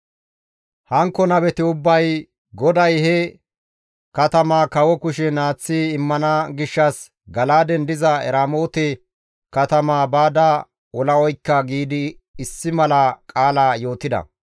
Hankko nabeti ubbay, «GODAY he katamaa kawo kushen aaththi immana gishshas Gala7aaden diza Eramoote katamaa baada ola oykka» giidi issi mala qaala yootida.